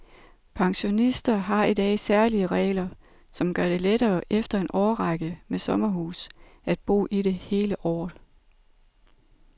Pensionister har i dag særlige regler, som gør det lettere efter en årrække med sommerhus at bo i det hele året.